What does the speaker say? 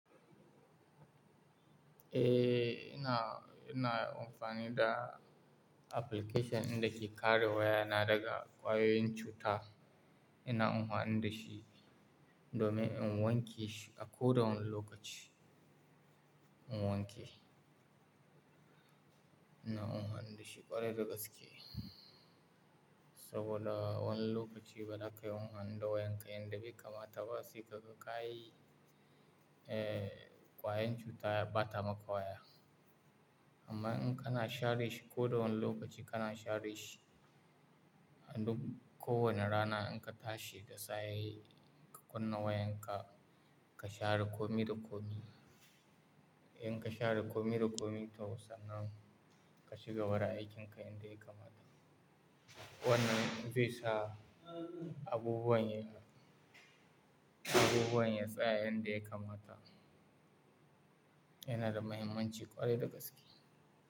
Eh, ina, ina amfani da application dinda ke kare wayana daga ƙwayoyin cuta. Ina anfani da shi domin in wanke shi a ko da wani lokaci, in wanke. Ina anfani da shi ƙwarai da gaske saboda wani lokaci ba za ka iya anfani da wayanka inda baka mata ba, sai ka ga ka yi, eh, ƙwayoyin cuta ya ɓata maka waya. Amma in kana share shi ko da wane lokaci kana share shi a duk kowane rana in ka tashi da safe ka kunna wayanka ka share kome da kome. In ka share kome da kome ta musamman ka cigaba da aikinka inda ya kamata. Wannan zai sa abubuwan ya, abubuwan ya tsaya inda ya kamata. Yana da mahimmanci ƙwarai da gaske.